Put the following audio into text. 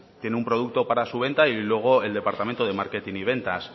tiene un producto para su venta y luego el departamento de marketing y ventas